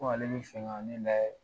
Ko ale be segin ka na ne lajɛ .